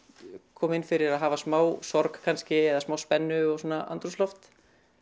koma inn fyrir að hafa smá sorg kannski eða smá spennu og svona andrúmsloft